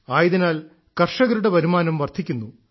ആയതിനാൽ കർഷകരുടെ വരുമാനം വർദ്ധിക്കുന്നു